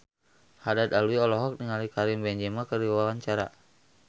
Haddad Alwi olohok ningali Karim Benzema keur diwawancara